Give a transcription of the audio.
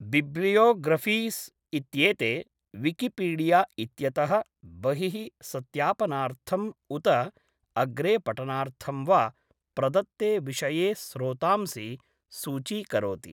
bibliographies इत्येते, Wikipedia इत्यतः बहिः सत्यापनार्थं उत अग्रे पठनार्थं वा, प्रदत्ते विषये स्रोतांसि सूचीकरोति